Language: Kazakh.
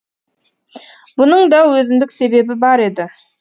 бұның да өзіндік себебі бар еді